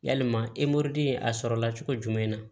Yalima a sɔrɔla cogo jumɛn na